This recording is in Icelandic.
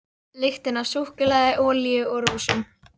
Lyktin af súkkulaði, olíu og rósum.